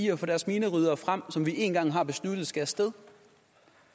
at få deres mineryddere frem som vi én gang har besluttet skal af sted